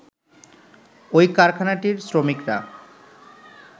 ওই কারাখানাটির শ্রমিকরা